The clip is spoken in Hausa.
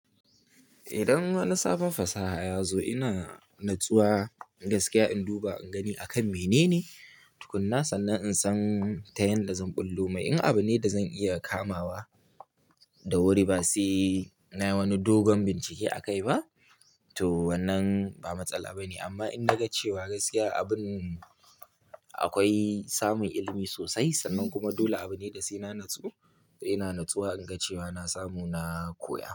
Idan wani sabon fasaha ya zo ina natsuwa gaskiya in duba in gani akan menene tukuna sannan in san ta yanda zan ɓullo mai. In abune da zan iya kamawa da wuri ba sai na yi wani dogon bincike akai ba to wannan ba matsala bane. Amma in na ga cewa gaskiya abun akwai samun ilimi sosai sannan kuma dole abune da sai na natsu to ina natsuwa in ga cewa na samu na koya.